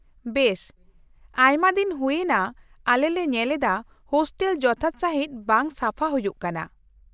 ᱵᱮᱥ ᱟᱭᱢᱟᱫᱤᱱ ᱦᱩᱭ ᱮᱱᱟ ᱟᱞᱮ ᱞᱮ ᱧᱮᱞ ᱮᱫᱟ ᱦᱳᱥᱴᱮᱞ ᱡᱚᱛᱷᱟᱛ ᱥᱟᱺᱦᱤᱡ ᱵᱟᱝ ᱥᱟᱯᱷᱟ ᱦᱩᱭᱩᱜ ᱠᱟᱱᱟ ᱾